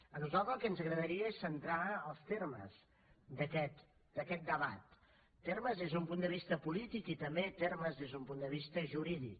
a nosaltres el que ens agradaria és centrar els termes d’aquest debat termes des d’un punt de vist polític i també termes des d’un punt de vista jurídic